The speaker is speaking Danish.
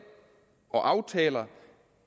og aftaler